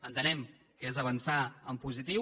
entenem que és avançar en positiu